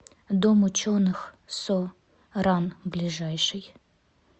дом ученых со ран ближайший